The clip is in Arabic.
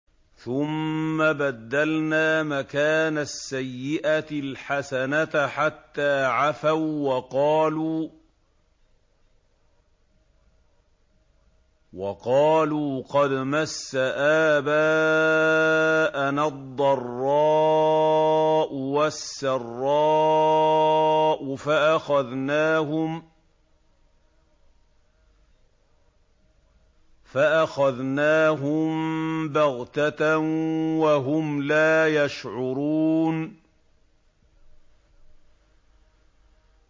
ثُمَّ بَدَّلْنَا مَكَانَ السَّيِّئَةِ الْحَسَنَةَ حَتَّىٰ عَفَوا وَّقَالُوا قَدْ مَسَّ آبَاءَنَا الضَّرَّاءُ وَالسَّرَّاءُ فَأَخَذْنَاهُم بَغْتَةً وَهُمْ لَا يَشْعُرُونَ